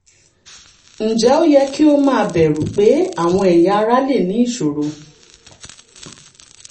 ǹjẹ́ ó yẹ kí ó máa bẹ̀rù pé àwọn ẹ̀yà ara lè ní ìṣòro?